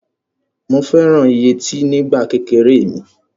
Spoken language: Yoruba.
Mo fẹ́ràn yẹtí nígbà kékeré mi.